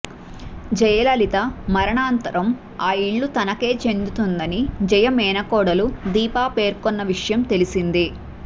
జయలలిత మరణానంతరం ఆ ఇల్లు తనకే చెందుతుందని జయ మేనకోడలు దీపా పేర్కొన్న విషయం తెలిసిందే